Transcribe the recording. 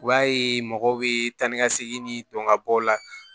U b'a ye mɔgɔw bɛ taa ni ka segin ni dɔn ka bɔ o la